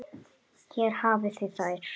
Hér hafið þið þær.